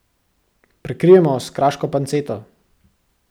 Prekrijemo s kraško panceto.